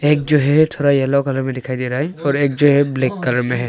एक जो है थोड़ा येलो कलर में दिखाई दे रहा है और एक जो है वह ब्लैक कलर में है।